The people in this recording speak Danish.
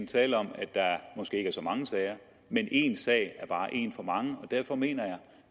tale om at der måske ikke er så mange sager men en sag er bare en for meget og derfor mener jeg at